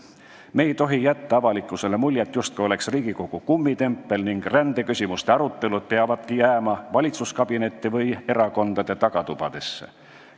Me ei tohi jätta avalikkusele muljet, justkui oleks Riigikogu kummitempel ning rändeküsimuste arutelud peavadki jääma valitsuskabinetti või erakondade tagatubadesse.